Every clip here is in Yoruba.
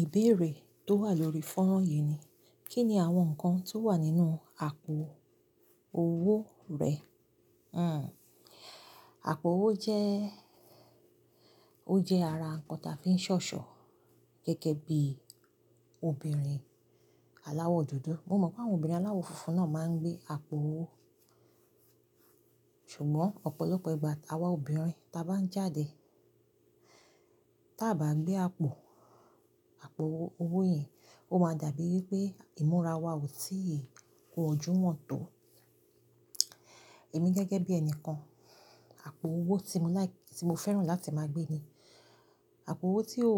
Ìbéèrè tó wà lórí fọ́nrán yìí ni, kí ni àwọn nǹkan tó wà nínú àpò owó rẹ? Àpò owó jẹ́, ó jẹ́ ara nǹkan tí a fi ń ṣọ̀ṣọ̀ gẹ́gẹ́ bí obìnrin aláwọ̀ dúdú. Mo mọ̀ pé àwọn obìnrin aláwọ̀ funfun náà máa ń gbé àpò owó, ṣùgbọ́n ọ̀pọ̀lọpọ̀ ìgbà táwa obìnrin ta bá ń jáde, táa bà á gbé àpò, àpò owó yìí, ó máa dàbí wípé ìmúra wa ò tí ì kú ojú hàn tó. Èmi gẹ́gẹ́ bí ẹni kan, àpò owó tí mo like, tí mo fẹ́ràn láti máa gbé ni àpò owó tí ó,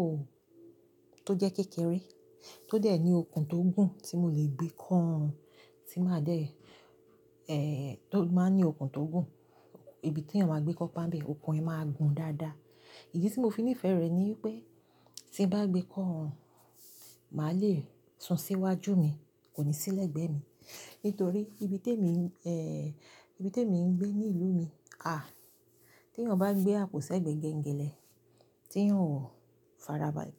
tó jẹ́ kékeré, tó dẹ̀ ní okùn tó gùn tí mo lè gbé kọ́ ọrùn tí máa dẹ̀, tó máa ń ní okùn tó gùn. Ibi tí èèyàn máa gbé kọ́pà ń bẹ́, okùn ẹ máa gùn dáadáa. Ìdí tí mo fi nífẹ̀ẹ́ rẹ̀ ni wípé tí n bá gbé kọ́ ọrùn, màá le sùn sí iwájú mi, kò ní sí lẹ̀gbẹ́ mi. Nítorí ibi tí èmi, ibi tí èmi ń gbé ní ìlú mi, à, tí èèyàn bá ń gbé àpò sẹ́gbẹ̀gbẹ́ ngẹlẹ́, tí èèyàn ò farabalẹ̀,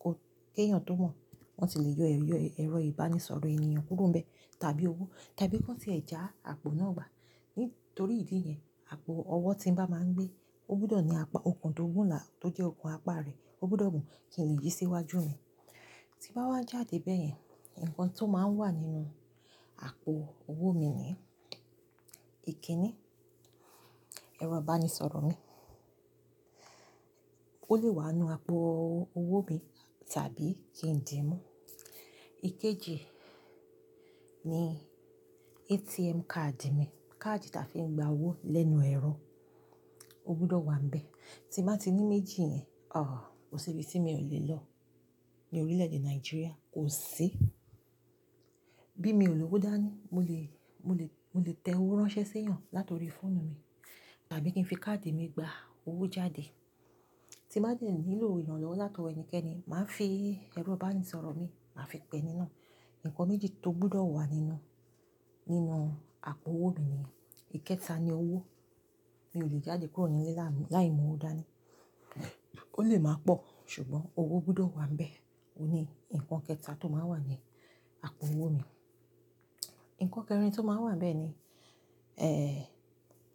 kó, kí èèyàn tó mọ̀, wọ́n tì lè yọ ẹ̀, ẹ̀rọ ìbánisọ̀rọ̀ ènìyàn kúrò nbẹ́ tàbí owó tàbí kí wọ́n tìe ja àpò náà gbà. Nítorí ìdí yẹn, àpò owó tí n bá máa ń gbé, ó gbọdọ̀ ní apá okùn tó gùn lá, tó jẹ́ okùn apá rẹ̀ ó gbọdọ̀ gùn kí n le yí sí iwájú mi. Tí bá wá jáde bẹ́ẹ̀ yẹn, nǹkan tí ó máa ń wà nínú àpò owó mi ni ìkíni, ẹ̀rọ ìbánisọ̀rọ̀ mi. Ó lè wà nínú àpò owó mi tàbí kí n di i mú. Ìkejì ni ATM card mi. Káàdì tá fi ń gba owó lẹ́nu ẹ̀rọ ó gbọdọ̀ wà níbẹ̀. Tí n bàá ti ní méjì yẹn, ò, kò sí ibi tí mi ò lè lọ ní orílẹ̀-èdè Nàìjíríà, kò sí. Bí mi ò lọ́wọ́ dání, mo lè, mo lè, mo lè tẹ owó ránṣẹ́ sí èèyàn látọ̀rí fóònù mi tàbí kí n fi káàdì mi gba owó jáde. Tí n bàá dé nílò ìrànlọ́wọ́ látọ̀wọ́ ẹnikẹ́ni, màá fi ẹ̀rọ ìbánisọ̀rọ̀ mi, màá fi pẹ́ ení ná. Nǹkan méjì tó gbọdọ̀ wà nínú, nínú àpò owó mi ni, ìkéta ni owó. Mi ò lè jáde kúrò nílé láì, láì mú owó dání. Ó lè máa pọ̀ ṣùgbọ́n owó gbọdọ̀ wà níbẹ̀. Óhun ní nǹkan kẹta tó máa ń wà ní àpò owó mi. Nǹkan kẹrin tí ó máa ń wà níbẹ̀ ni,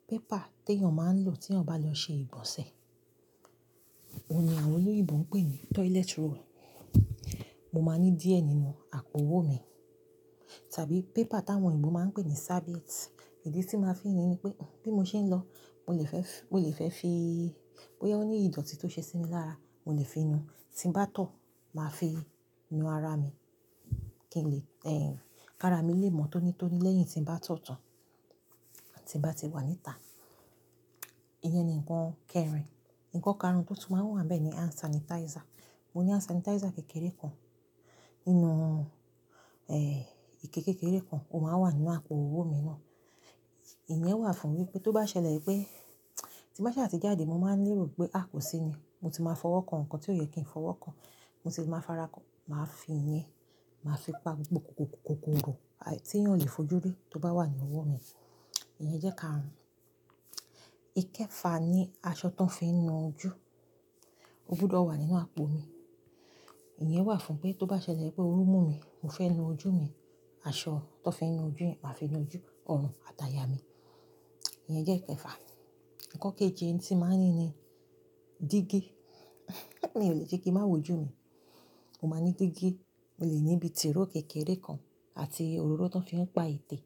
paper tí èèyàn máa ń lò tí èèyàn bá lọ ṣe ìgbọn ṣe. Óhun ní àwọn olóyìnbo ń pè ní toilet roll. Mo máa ní díẹ̀ nínú àpò owó mi tàbí paper táwọn òyìnbó máa ń pè ní serviette. Ìdí tí màá fi ní ní pé bí mo ṣe ń lọ, mo lè fẹ́ fi, mo lè fẹ́ fi, bóyá ó ní ìdọ̀tí tó ṣe sí mi lára, mo lè fi nu. Tí ń bá tọ̀, màá fi nu ara mi kí n lè kara mi lè mọ́ tónítóní lẹ́yìn tí ń bá tọ̀ tán tí ń bá ti wà níta. Ìyẹn ni ǹnkan kẹrin. Nǹkan karùn-ún tí ó tún máa ń wà níbẹ̀ ni hand sanitizer. Mo ní hand sanitizer kékeré kan nínú ike kékeré kan. Ó máa ń wà nínú àpò owó mi náà. Ìyẹn wà fún wípé tó bá ṣẹlẹ̀ wípé tí n bàá ṣà ti jáde, mo máa ń nírò wípé à kò sí ni. Mo ti máa fọwọ́ kan nǹkan tí ò yẹ kí n fọwọ́ kan. Mo sì máa fara kán, màá fi ìyẹn, màá fi pa gbogbo kòkòkokokorò tí èèyàn ò lè fojú rí tó bá wà ní ọwọ́ mi. Ìyẹn jẹ́ karùn-ún. Ìkẹfà ni aṣọ tó fi ń nu ojú. Ó gbọdọ̀ wà nínú àpò mi. Ìyẹn wà fún wípé tó bá ṣẹlẹ̀ wípé oru mú mi, mo fẹ́ nu ojú mi, aṣọ tó fi ń nu ojú, màá fi nu ojú, ọrùn àti àyà mi. Ìyẹn jẹ́ ikẹfà. Nǹkan kejì tí màá n ni ni dígí. Mi ò le ṣe kí n máa wójú mi, mo máa ní dígí. Mo lè ní ibi tìróò kékeré kan àti òróró tó fi ń pa ètè.